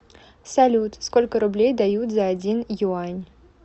салют сколько рублей дают за один юань